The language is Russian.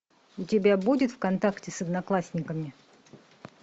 у тебя будет в контакте с одноклассниками